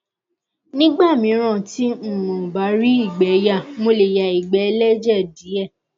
nígbà míràn tí um n ò bá rí ìgbé yà mo lè ya ìgbẹ ẹlẹjẹ díẹ